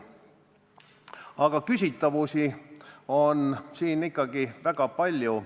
Aga küsitavusi on ikkagi väga palju.